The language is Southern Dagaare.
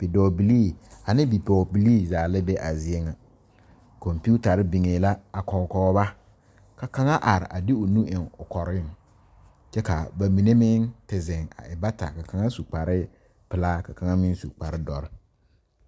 Bidɔɔ bilii ane bipɔgɔ bilii zaa la be a zie ŋa. Komputare biŋe la a kɔkɔ ba. Ka kanga are a de o nu a eŋ o koreŋ. Kyɛ ka ba mene meŋ te zeŋ a e bata. Ka kanga su kpare pulaa ka kanga meŋ su kpare doɔre